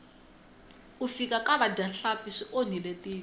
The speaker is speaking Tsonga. ku fika ka vadyahlampfi swi onhile tiko